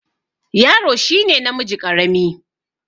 Yaro shi ne namiji ƙarami.